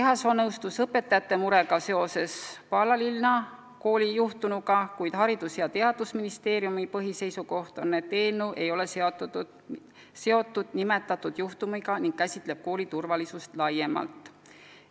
Ehasoo ütles end mõistvat õpetajate muret seoses Paalalinna koolis juhtunuga, kuid Haridus- ja Teadusministeeriumi põhiseisukoht on, et eelnõu ei ole seotud nimetatud juhtumiga ning peab silmas kooli turvalisust laiemalt.